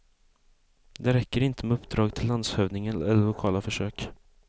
Det räcker inte med uppdrag till landshövdingen eller lokala försök.